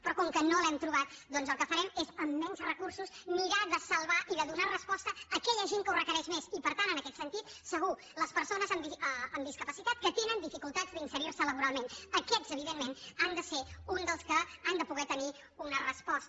però com que no l’hem trobat doncs el que farem és amb menys recursos mirar de salvar i de donar resposta a aquella gent que ho requereix més i per tant en aquest sentit segur les persones amb discapacitat que tenen dificultats d’inserir se laboralment aquests evidentment han de ser uns dels que han de poder tenir una resposta